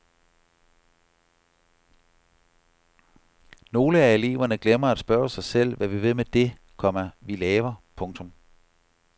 Nogle af eleverne glemmer at spørge sig selv hvad vi vil med det, komma vi laver. punktum